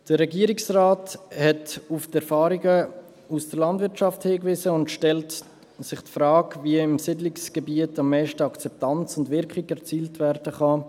Der Regierungsrat hat auf die Erfahrungen aus der Landwirtschaft hingewiesen und stellt sich die Frage, wie im Siedlungsgebiet am meisten Akzeptanz und Wirkung erzielt werden kann.